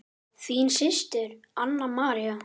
Þín systir, Anna María.